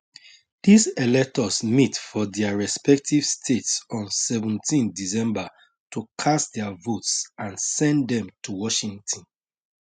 dis electors meet for dia respective states on seventeendecember to cast dia votes and send dem to washington